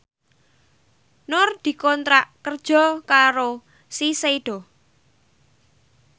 Nur dikontrak kerja karo Shiseido